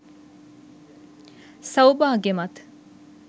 සෞභාග්‍යමත්